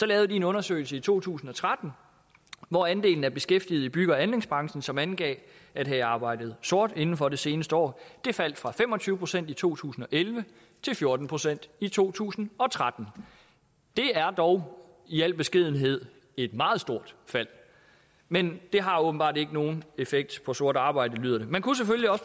lavede en undersøgelse i to tusind og tretten hvor andelen af beskæftigede i bygge og anlægsbranchen som angav at have arbejdet sort inden for de seneste år faldt fra fem og tyve procent i to tusind og elleve til fjorten procent i to tusind og tretten det er dog i al beskedenhed et meget stort fald men det har åbenbart ikke nogen effekt på sort arbejde lyder det man kunne selvfølgelig